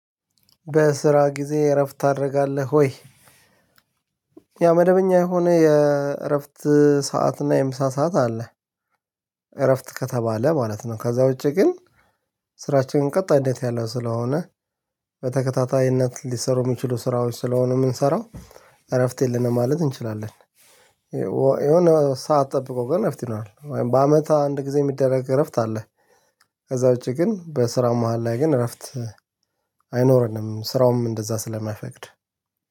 "በስራ ጊዜ እረፍት ታደርጋለህ ወይ?" ያው መደበኛ የሆነ የእረፍት ሰዓት እና የምሳ ሰዓት አለ፤ እረፍት ከተባለ ማለት ነው። ከዛ ውጪ ግን ስራችንን ቀጣይነት ያለው ስለሆነ፤ በተከታታይነት ሊሰሩ የሚችሉ ስራዎች ስለሆኑ የምንሰራው፤ እረፍት የለንም ማለት እንችላለን። የሆነ ሰዓት ጠብቆ ግን እረፍት ይኖራል። በአመት አንድ ጊዜ የሚደረግ እረፍት አለ። ከዛ ውጪ ግን በስራ መሃል ላይ ግን እረፍት አይኖረንም። ስራውም እንደዛ ስለማይፈቅድ።